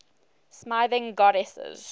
smithing goddesses